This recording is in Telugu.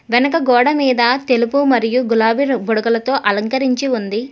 వెనుక గోడ మీద తెలుపు మరియు గులాబీ బుడగలతో అలంకరించి ఉంది.